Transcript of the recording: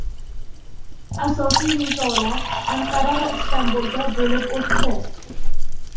Asosiy nizolar Anqara va Istanbulda bo‘lib o‘tdi.